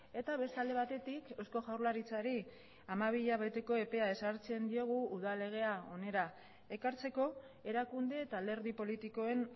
eta beste alde batetik eusko jaurlaritzari hamabi hilabeteko epea ezartzen diogu udal legea hona ekartzeko erakunde eta alderdi politikoen